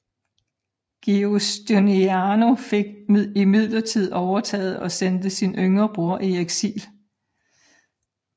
Giustiniano fik imidlertid overtaget og sendte sin yngre bror i eksil